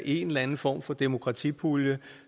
en eller anden form for demokratipulje